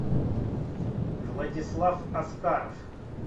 владислав аскаров